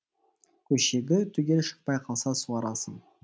көшеті түгел шықпай қалса суарасың